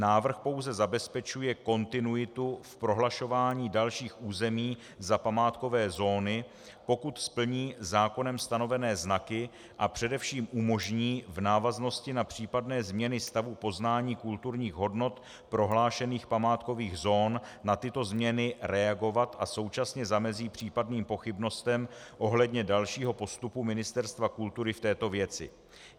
Návrh pouze zabezpečuje kontinuitu v prohlašování dalších území za památkové zóny, pokud splní zákonem stanovené znaky, a především umožní v návaznosti na případné změny stavu poznání kulturních hodnot prohlášených památkových zón na tyto změny reagovat a současně zamezí případným pochybnostem ohledně dalšího postupu Ministerstva kultury v této věci.